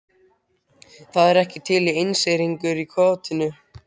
Það er ekki til einseyringur í kotinu.